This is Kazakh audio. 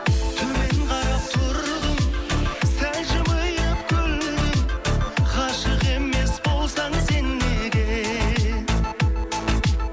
төмен қарап тұрдың сәл жымиып күлдің ғашық емес болсаң сен неге